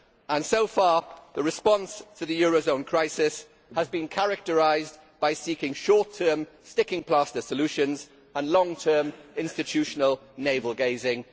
And so far, the response to the euro zone crisis has been characterised by seeking short term, sticking plaster solutions and long term institutional navel gazing.